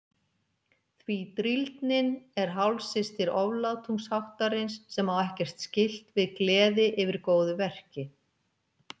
Því drýldnin er hálfsystir oflátungsháttarins sem á ekkert skylt við gleði yfir góðu verki.